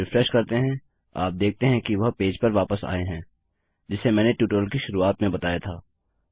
अब जब रिफ्रेश करते हैं आप देखते हैं कि वह पेज पर वापस आए हैं जिसे मैंने ट्यूटोरियल की शुरुआत में बताया था